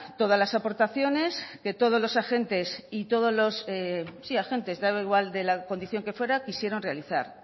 todas las aportaciones que todos los agentes y todos los sí agentes daba igual de la condición que fuera quisieron realizar